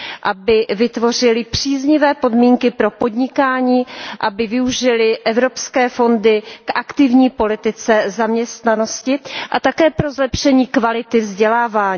aby vytvořily příznivé podmínky pro podnikání, aby využily evropské fondy k aktivní politice zaměstnanosti a také pro zlepšení kvality vzdělávání.